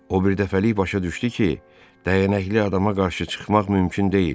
O birdəfəlik başa düşdü ki, dəyənəkli adama qarşı çıxmaq mümkün deyil.